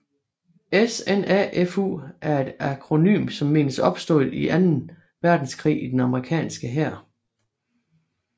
SNAFU er et akronym som menes opstået i anden verdenskrig i den amerikanske hær